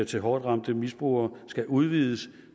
til hårdtramte misbrugere skal udvides